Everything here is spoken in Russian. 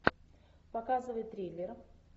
показывай триллер